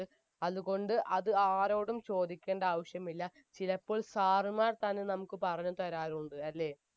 അത് കൊണ്ട് അത് ആ ആരോടും ചോദിക്കണ്ട ആവിശ്യമില്ല ചിലപ്പോൾ sir മാർ തന്നെ നമുക്ക് പറഞ്ഞ് തരാറുണ്ട് അല്ലെ